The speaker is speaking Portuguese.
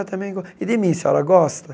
Também gos e de mim, a senhora gosta?